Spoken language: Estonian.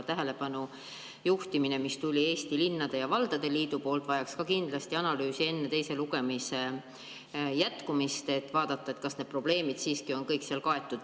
Tähelepanu juhtimine, mis tuli Eesti Linnade ja Valdade Liidu poolt, vajaks kindlasti analüüsi enne teist lugemist, et vaadata, kas need probleemid on kõik kaetud.